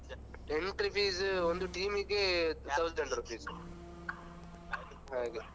ಮತ್ತೆ entry fees ಒಂದು team ಗೆ thousand rupees ಹಾಗೆ.